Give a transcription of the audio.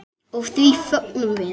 Og því fögnum við.